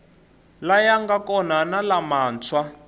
laya nga kona na lamantshwa